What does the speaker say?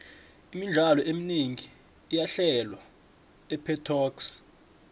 imidlalo eminengi iyahlelwa epetoxi